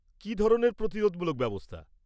কী ধরনের প্রতিরোধমূলক ব্যবস্থা?